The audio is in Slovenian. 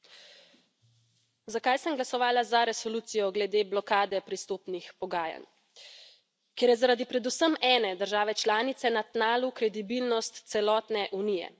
Gospa predsednica, zakaj sem glasovala za resolucijo glede blokade pristopnih pogajanj? Ker je zaradi predvsem ene države članice na tnalu kredibilnost celotne Unije.